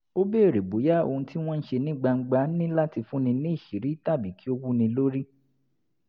o beere boya ohun ti wọn n ṣe ni gbangba ni lati fun ni ni iṣiti tabi ki o wu ni lori